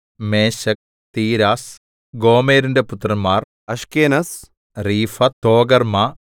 മേശെക്ക് Tiras ഗോമെരിന്റെ പുത്രന്മാർ Ashkenaz Riphath Togarmah